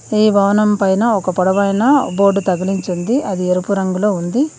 ఈ వాహనం పైన ఒక పొడవైన బోర్డు తగిలించుంది అది ఎరుపు రంగులో ఉంది.